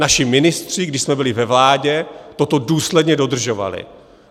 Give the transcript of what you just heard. Naši ministři, když jsme byli ve vládě, toto důsledně dodržovali.